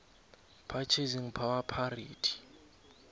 purchasing power parity